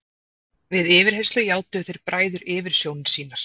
Við yfirheyrslur játuðu þeir bræður yfirsjónir sínar.